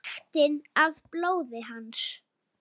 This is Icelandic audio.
Lyktina af blóði hans.